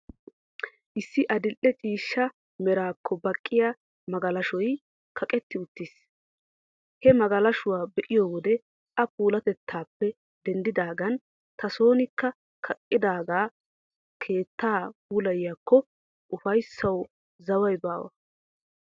Issi adil''e ciishsha meraakko baqqiya magalashoy kaqetti uttiis. He magalashuwaa be'iyoo wode A puulaatettaappe denddidaagan ta soonikka kaqqada keettaa puulayiyaakoo, ufayssawu zawi baawa.